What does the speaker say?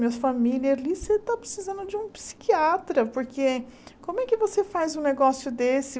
Minha família ali, você está precisando de um psiquiatra, porque como é que você faz um negócio desse?